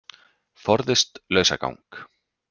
Forðist lausagang